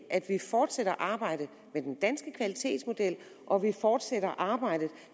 at vi fortsætter arbejdet med den danske kvalitetsmodel og at vi fortsætter arbejdet